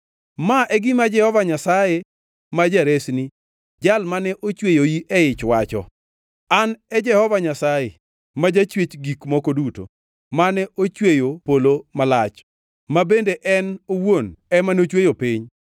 “Ma e gima Jehova Nyasaye ma Jaresni, Jal mane ochweyoi e ich wacho: “An e Jehova Nyasaye, ma Jachwech gik moko duto, mane ochweyo polo malach, ma bende en owuon ema nochweyo piny,